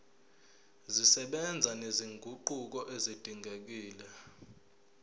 zisebenza nezinguquko ezidingekile